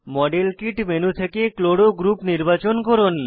model kit menu থেকে chloro group নির্বাচন করুন